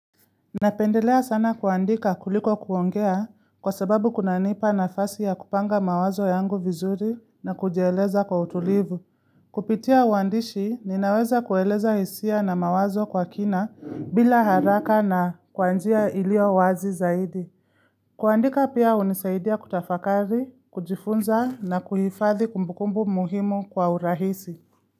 Napendelea sana kuandika kuliko kuongea kwa sababu kunanipa nafasi ya kupanga mawazo yangu vizuri na kujieleza kwa utulivu. Kupitia uandishi, ninaweza kueleza hisia na mawazo kwa kina bila haraka na kwa njia iliowazi zaidi. Kuandika pia hunisaidia kutafakari, kujifunza na kuhifadhi kumbukumbu muhimu kwa urahisi.